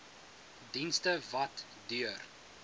dienste wat deur